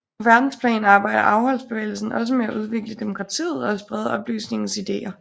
På verdensplan arbejder afholdsbevægelsen også med at udvikle demokratiet og at sprede oplysningens ideer